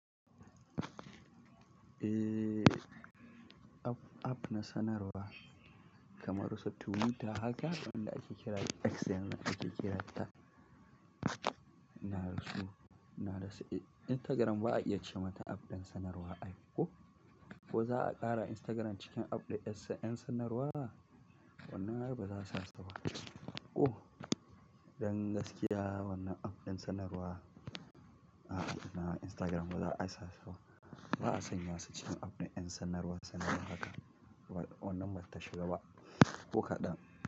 Eh, app, app na sanarwa kamar su tuwita haka wanda ake kira X yanzu ake kiranta. Na rasu, na rasa. Instagram ba a iya ce mata app ɗin sanarwa ai ko? Ko za a ƙara Instagram cikin app ɗin ƴan sanarwa? Wannan yarbawa za su sasa suwa ko? Don gaskiya wannan app ɗin sanarwa a, a, na Instagram baza a isa su ba. Ba a sanya su cikin app na ƴan sanarwa sannan haka. Wannan bata shiga ba. Ko kaɗan.